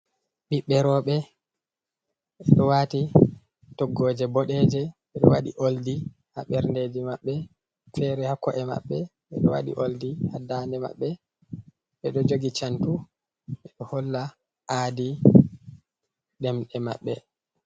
Ɓiɓɓe rewɓe, ɓe ɗo waati toggooje boɗeeje, ɓe ɗo waɗi Ooldi haa ɓerndeeji maɓɓe, feere haa ko’e maɓɓe, ɓe ɗo waɗi Ooldi haa daande maɓɓe ɓe ɗo jogi Cantu ɓe ɗo holla aadi ɗemɗe maɓɓe.